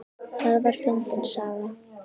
Það var fyndin saga.